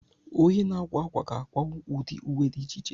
Onye na-akwa ákwà ga-akwanwu ụdị uwe dị iche iche.